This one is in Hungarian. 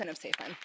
Köszönöm szépen.